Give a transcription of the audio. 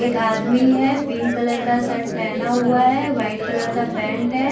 एक आदमी है। पिंक कलर का शर्ट पहना हुआ है। व्हाइट कलर का पैंट है।